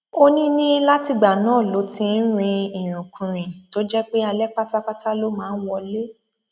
ó ní ní látìgbà náà ló ti ń rin ìrìnkurìn tó jẹ pé alẹ pátápátá ló máa ń wọlé